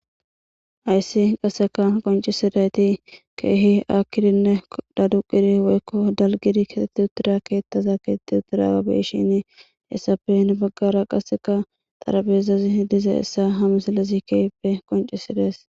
Hayssi qaseka qoncisidayti keehi akkidinne daduqiri woykko dalgidi katetti uttira keettaza keetetti uttira gabeshini essapen baggara qasseka tarabeezazi hidiza issa hamusalesi keehipe qoncisidees.